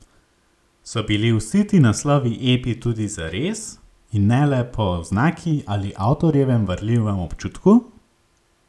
So bili vsi ti naslovi epi tudi zares in ne le po oznaki ali avtorjevem varljivem občutku?